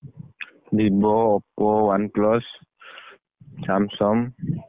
Vivo Oppo, OnePlus Samsung